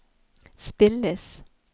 spilles